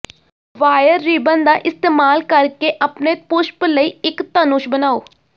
wire ribbon ਦਾ ਇਸਤੇਮਾਲ ਕਰਕੇ ਆਪਣੇ ਪੁਸ਼ਪ ਲਈ ਇੱਕ ਧਨੁਸ਼ ਬਣਾਉ